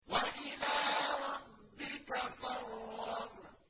وَإِلَىٰ رَبِّكَ فَارْغَب